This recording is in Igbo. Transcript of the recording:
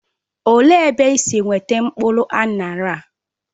Olee ebe isi weta mkpụrụ aṅara a?